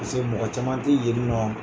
Paseke mɔgɔ caman tɛ yen nɔ.